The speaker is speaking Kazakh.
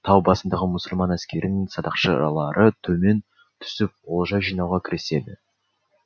тау басындағы мұсылман әскерінің садақшылары төмен түсіп олжа жинауға кіріседі